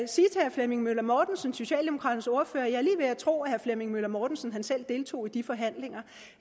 flemming møller mortensen socialdemokraternes ordfører er tro at herre flemming møller mortensen selv deltog i de forhandlinger